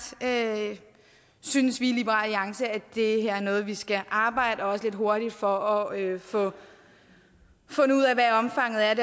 synes vi i liberal alliance at det her er noget vi skal arbejde med og også lidt hurtigt for at få fundet ud af hvad omfanget af